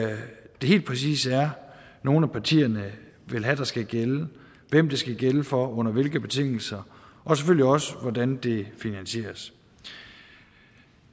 det helt præcis er nogle af partierne vil have der skal gælde hvem det skal gælde for og under hvilke betingelser og selvfølgelig også hvordan det finansieres